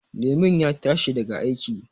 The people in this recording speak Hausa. Lemon ya tashi daga aiki